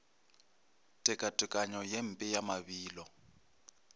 tekatekanyo ye mpe ya mabilo